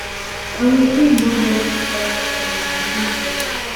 and we bin no get dat kain moni im tok